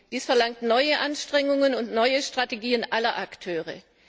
Dies verlangt neue Anstrengungen und neue Strategien aller Akteure.